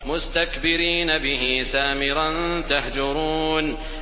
مُسْتَكْبِرِينَ بِهِ سَامِرًا تَهْجُرُونَ